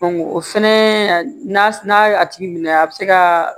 o fɛnɛ a na n'a tigi minɛ a bɛ se ka